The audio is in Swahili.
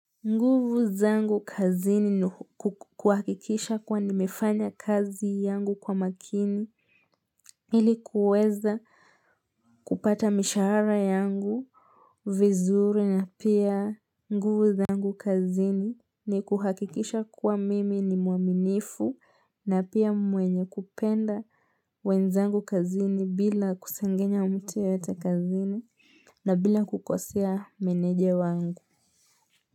Nguvu zangu kazini ni ku kuhakikisha kuwa nimefanya kazi yangu kwa makini Ili kuweza kupata mishahara yangu, vizuri na pia nguvu zangu kazini ni kuhakikisha kuwa mimi ni mwaminifu na pia mwenye kupenda wenzangu kazini bila kusengenya mti yeyote kazini na bila kukosea meneja wangu.